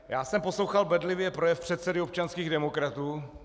Já jsem poslouchal bedlivě projev předsedy občanských demokratů.